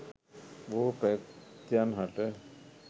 බොහෝ ප්‍රේතයන් හට